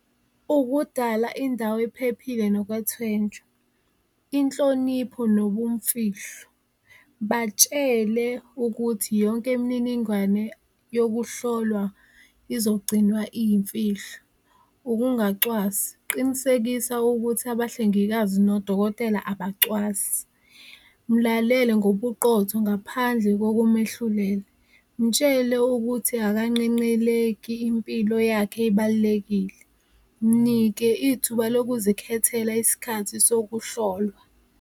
Ukudala indawo ephephile nokwethwenjwa, inhlonipho nobumfihlo, batshele ukuthi yonke imininingwane yokuhlolwa izogcinwa iyimfihlo. Ukungacwasi, qinisekisa ukuthi abahlengikazi nodokotela abacwasi, mlalele ngobuqotho ngaphandle kokumehlulela, mtshele ukuthi akanqenqeleki impilo yakhe ebalulekile, mnike ithuba lokuzikhethela iskhathi sokuhlolwa.